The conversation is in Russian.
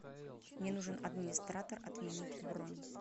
мне нужен администратор отменить бронь